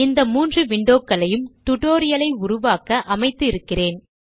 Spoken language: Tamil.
இந்த மூன்று விண்டோகளையும் டுடோரியல் ஐ உருவாக்க அமைத்து இருக்கிறேன்